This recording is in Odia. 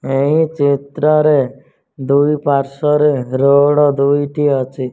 ଏହି ଚିତ୍ର ରେ ଦୁଇ ପାର୍ଶ୍ଵରେ ରୋଡ୍ ଦୁଇଟି ଅଛି।